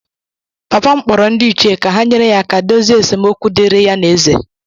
Papa m kpọrọ ndị ichie ka ha nyere ya aka dozie esemokwu dịịrị ya na ézè.